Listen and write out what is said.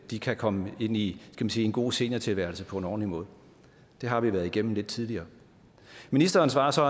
de kan komme ind i en god seniortilværelse på en ordentlig måde det har vi været igennem lidt tidligere ministeren svarer så